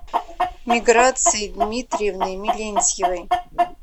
миграцией дмитриевной мелентьевой